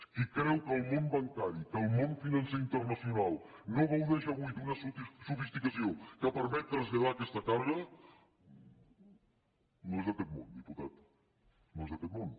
qui creu que el món bancari que el món financer internacional no gaudeix avui d’una sofisticació que permet traslladar aquesta càrrega no és d’aquest món diputat no és d’aquest món